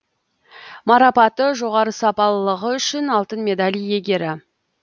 марапаты жоғары сапалылығы үшін алтын медаль иегері